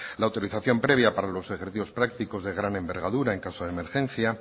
la utilización previa para los ejercicios prácticos de gran envergadura en caso de emergencia